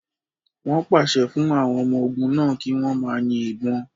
Wọn pase fun awọn ọmọ ogun náa ki wọn ma yin ibon